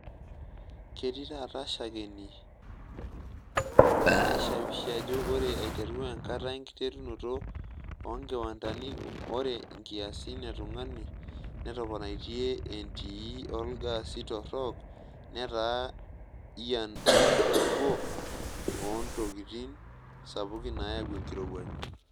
Ketii taata shakeni naishawishi ajo ore aiteru enkata enkiterunoto oonkiwanadani ore nkiasin e tungani netoponaitie entii olgaasi torok netaa ian nabo oontikin sapuki naayau enkirowuaj.